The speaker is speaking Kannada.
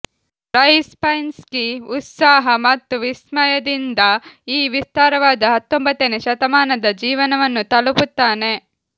ರೈಬ್ಸೈನ್ಸ್ಕಿ ಉತ್ಸಾಹ ಮತ್ತು ವಿಸ್ಮಯದಿಂದ ಈ ವಿಸ್ತಾರವಾದ ಹತ್ತೊಂಬತ್ತನೇ ಶತಮಾನದ ಜೀವನವನ್ನು ತಲುಪುತ್ತಾನೆ